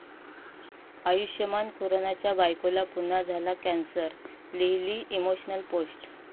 आयुष्मान खुरानाच्या बायकोला पुन्हा झाला कॅन्सर, लिहिली इमोशनल पोस्ट